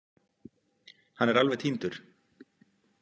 Hann er alveg týndur.